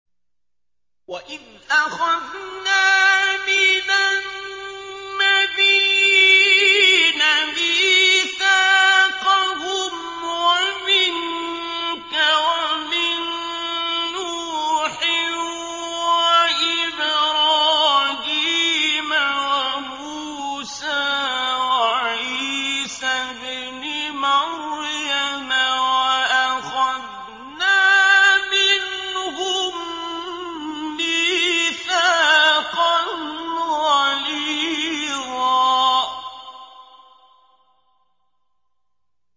وَإِذْ أَخَذْنَا مِنَ النَّبِيِّينَ مِيثَاقَهُمْ وَمِنكَ وَمِن نُّوحٍ وَإِبْرَاهِيمَ وَمُوسَىٰ وَعِيسَى ابْنِ مَرْيَمَ ۖ وَأَخَذْنَا مِنْهُم مِّيثَاقًا غَلِيظًا